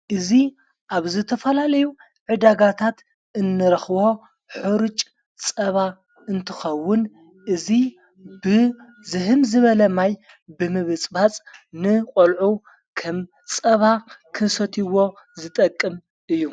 እዙ ኣብ ዝተፈላለዩ ዕዳጋታት እንረኽቦ ኅርጭ ጸባ እንትኸውን እዙይ ብዝህም ዝበለማይ ብምብጽባጽ ን ቖልዑ ከም ጸባ ክሰትይዎ ዝጠቅም እዩ።